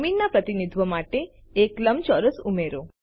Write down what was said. જમીનના પ્રતિનિધિત્વ માટે એક લંબચોરસ ઉમેરો